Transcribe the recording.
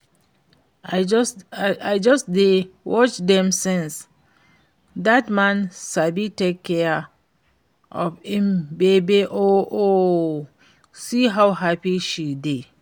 I just dey watch dem since, dat man sabi take care of im babe oo. See how happy she dey